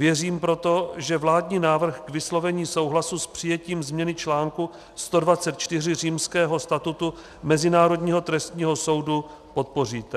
Věřím proto, že vládní návrh k vyslovení souhlasu s přijetím změny článku 124 Římského statutu Mezinárodního trestního soudu podpoříte.